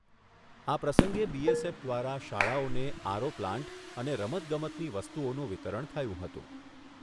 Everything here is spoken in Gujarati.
આ પ્રસંગે બીએસએફ દ્વારા શાળાઓને આરઓ પ્લાન્ટ અને રમતગમતની વસ્તુઓનું વિતરણ થયું હતું.